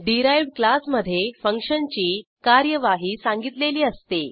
derived क्लासमधे फंक्शनची कार्यवाही सांगितलेली असते